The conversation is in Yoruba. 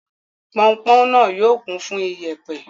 Pọnpọn náà yóò kún fún ìyẹ̀pẹ̀.